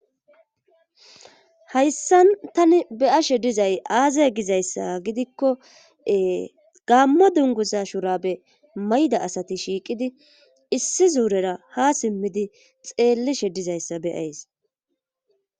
Hayssan tani beyashe dizay aazay gizayssa gidikkoe gammo dunguza shurabe mayda asati shiiqidi issi zuurera ha simmidi xeellishe dizayssa beyays